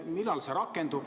Millal see rakendub?